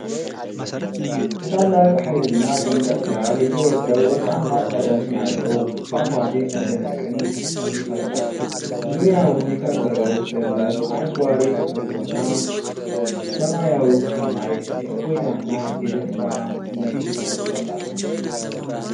ከታላቅ ኃይልና ድምቀት ጋር የሚወርደው ወርቃማ ቀለም ያለው ፏፏቴ መደነቅን ይፈጥራል። ዙሪያውን የከበበው ለምለም አረንጓዴ ተፈጥሮና ሰማያዊው ሰማይ የእፎይታና የደስታ ስሜት ይሰጣሉ።